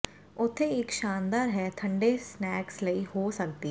ਉੱਥੇ ਇੱਕ ਸ਼ਾਨਦਾਰ ਹੈ ਠੰਡੇ ਸਨੈਕਸ ਲਈ ਹੋ ਸਕਦੀ ਹੈ